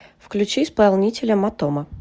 включи исполнителя матома